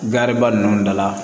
ba ninnu da la